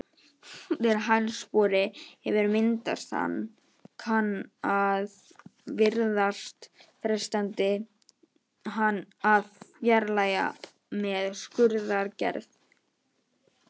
Þegar hælspori hefur myndast kann að virðast freistandi að fjarlægja hann með skurðaðgerð.